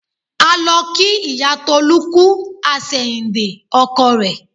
A lọ kí ìyá Tọ́lá kú àsẹ̀yìndè ọkọ rẹ̀